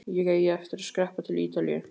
Ég eigi eftir að skreppa til Ítalíu.